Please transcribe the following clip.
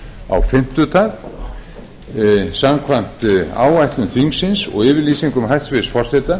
á fimmtudag samkvæmt áætlun þingsins og yfirlýsingum hæstvirts forseta